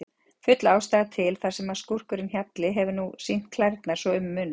Full ástæða til, þar sem skúrkurinn Hjalli hefur nú sýnt klærnar svo um munar.